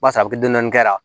Barisa a bɛ kɛ dɔɔni kɛ